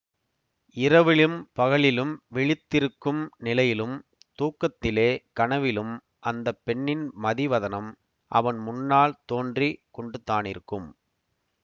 இரவிலும் பகலிலும் விழித்திருக்கும் நிலையிலும் தூக்கத்திலே கனவிலும் அந்த பெண்ணின் மதிவதனம் அவன் முன்னால் தோன்றி கொண்டுதானிருக்கும்